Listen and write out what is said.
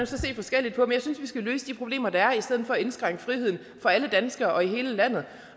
så se forskelligt på at jeg synes vi skal løse de problemer der er i stedet for at indskrænke friheden for alle danskere og i hele landet